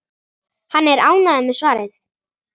Hann er ánægður með svarið.